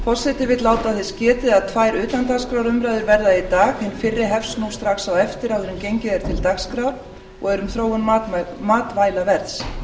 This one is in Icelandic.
forseti vill láta þess getið að tvær utandagskrárumræður verða í dag hin fyrri hefst nú strax á eftir áður en gengið er til dagskrár og er um þróun matvælaverðs